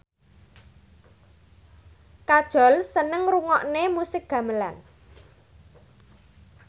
Kajol seneng ngrungokne musik gamelan